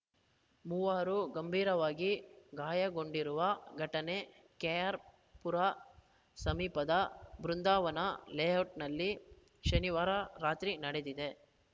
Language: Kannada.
ಮೂವರು ಗಂಭೀರವಾಗಿ ಗಾಯಗೊಂಡಿರುವ ಘಟನೆ ಕೆಆರ್‌ಪುರ ಸಮೀಪದ ಬೃಂದಾವನ ಲೇಔಟ್‌ನಲ್ಲಿ ಶನಿವಾರ ರಾತ್ರಿ ನಡೆದಿದೆ